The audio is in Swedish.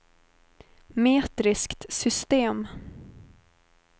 metriskt system